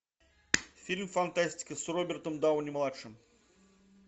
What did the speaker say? фильм фантастика с робертом дауни младшим